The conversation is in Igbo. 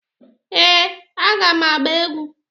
ee, a ga m agba egwu.